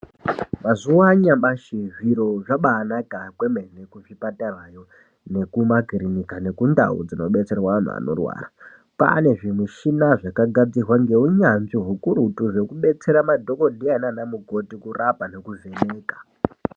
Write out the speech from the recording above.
Mazuwa anyamashi zviro zvabanaka kwemene kuzvipatarayo nekumakirinika nekundau dzinobetserwa anhu anorwara. Kwane zvimushina zvakagadzirwa ngeunyanzvi hukurutu zvekubetsera madhokodheya nana mukoti kurapa nekuvheneka.